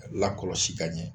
Lakɔlɔsi ka ɲɛ